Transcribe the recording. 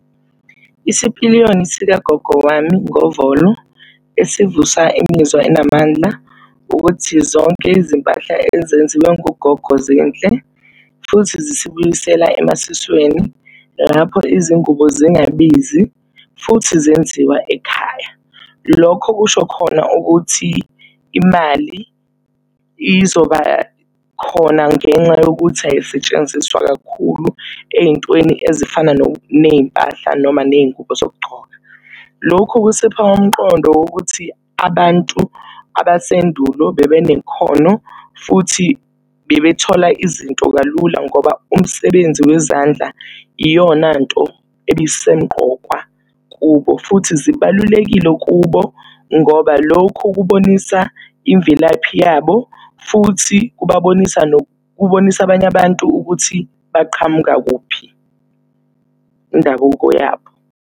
Isipiliyoni sikagogo wami ngovolo esivusa imizwa enamandla, ukuthi zonke izimpahla ezenziwe ngugogo zinhle, futhi zisibuyisela emasisweni lapho izingubo zingabizi futhi zenziwa ekhaya. Lokho kusho khona ukuthi imali izoba khona ngenxa yokuthi ayisetshenziswa kakhulu ey'ntweni ezifana ney'mpahla noma ney'ngubo zokugcoka. Lokhu kusipha umqondo wokuthi abantu abasendulo bebe nekhono, futhi bebe thola izinto kalula, ngoba umsebenzi wezandla iyona nto ebisemqokwa kubo futhi zibalulekile kubo ngoba lokhu kubonisa imvelaphi yabo futhi kubabonisa kubonisa abanye abantu ukuthi baqhamuka kuphi, indabuko yabo.